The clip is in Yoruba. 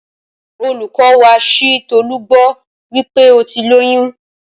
Olùkọ́ wa ṣi Tọlú gbọ́ wípé óti lóyún